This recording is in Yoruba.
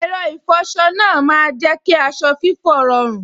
Ẹ̀rọ ìfọsọ náà má n jẹ́ kí aṣọ fífọ́ rọrùn